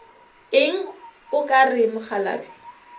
eng o ka re mokgalabje